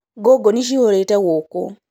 Ngũngũni cihũrĩte gũkũ